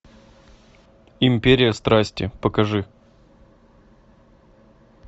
империя страсти покажи